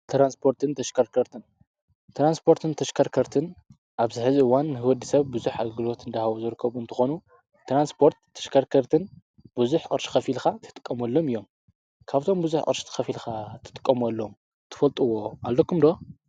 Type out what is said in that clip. ትራንስፖርትን ተሽከርከርትን፦ ትራንስፖርትን ተሽከርከርትን ኣብዚ ሕዚ እዋን ንወዲሰብ ብዙሕ ግልጋሎት እንድሃቡ ዝርከቡ እንትኾኑ ትራንስፖርት ተሽከርከርትን ብዙሕ ቅርሺ ከፊልካ እትጥቀመሎም እዮም። ካብዞም ብዙሕ ቅርሺ ከፊልካ እትጥቀመሎም እትፈልጥዎ ኣለኩም ዶ?